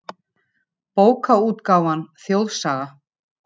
Bókaútgáfan Þjóðsaga.